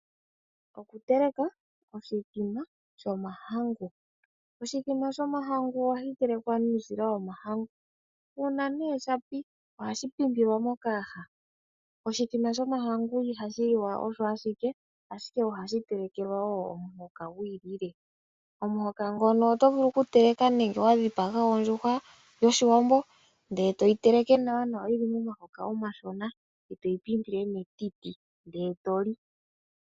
Okuteleka oshithima shomahangu. Oshithima shomahangu o hashi telekwa nuusila womahangu nuuna shapi ohashi pi mpilwa mokayaha. Oshithima shomahangu i hashi liwa osho ashike ,ashike ohashi telekelwa omuhoka gwi ikalekelwa. Omuhoka ngono otovulu oku teleka nenge wa dhipaga ondjuhwa yoshiwambo ndele to yi teleke nawa yili momahoka omashona e to yi mpimpile metiti e to li.